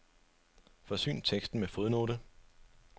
Forsyn teksten med fodnote.